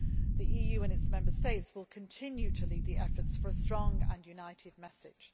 The EU and its Member States will continue to lead the efforts for a strong and united message.